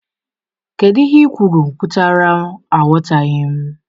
Kedu ihe ikwuru pụtara, aghọtaghị m?